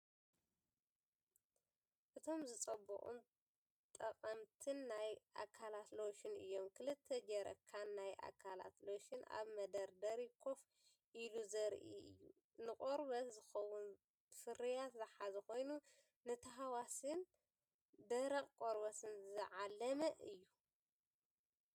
እቶም ዝጸበቑን ጠቐምትን ናይ ኣካላት ሎሽን እዮም! ክልተ ጀርካን ናይ ኣካላት ሎሽን ኣብ መደርደሪ ኮፍ ኢሉ ዘርኢ እዩ። ንቆርበት ዝኸውን ፍርያት ዝሓዘ ኮይኑ፡ ንተሃዋስን ደረቕን ቆርበት ዝዓለመ እዩ።